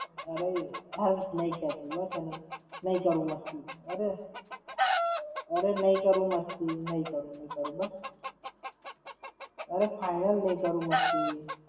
અરે, હાલ નાઈ ખેંચું બસ એનું. નાઈ કરું મસ્તી. અરે. અરે નઈ કરું મસ્તી. નઈ કરું, નઈ કરું, બસ. અરે final નઈ કરું મસ્તી.